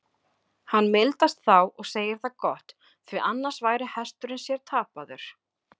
Hann mildast þá og segir það gott, því annars væri hesturinn sér tapaður.